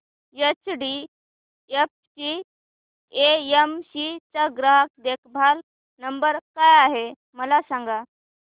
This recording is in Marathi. एचडीएफसी एएमसी चा ग्राहक देखभाल नंबर काय आहे मला सांग